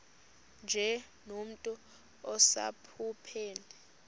nje nomntu osephupheni